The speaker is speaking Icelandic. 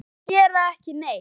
Kisur gera ekki neitt.